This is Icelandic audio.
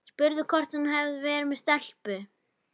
Spurði hvort hann hefði verið með stelpu.